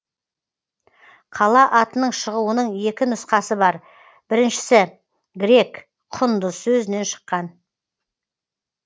қала атының шығуының екі нұсқасы бар біріншісі грек құндыз сөзінен шыққан